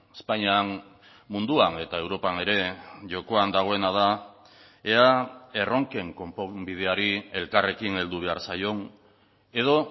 espainian munduan eta europan ere jokoan dagoena da ea erronken konponbideari elkarrekin heldu behar zaion edo